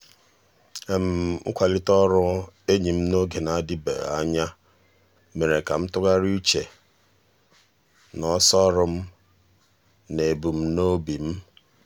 mkwalite ọrụ enyi m n'oge na-adịbeghị anya mere ka m tụgharịa uche na ọsọ ọrụ m na ebumnobi m.